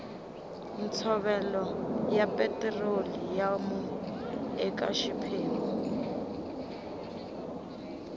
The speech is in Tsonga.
ntshovelo ya petiroliyamu eka xiphemu